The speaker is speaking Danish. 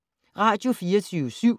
Radio24syv